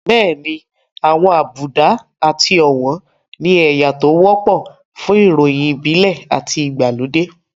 Bẹ́ẹ̀ni àwọn àbùdá àti ọ̀wọ̀n ni ẹ̀yà tó wọ́pọ̀ fún ìròyìn ìbílẹ̀ àti ìgbàlódé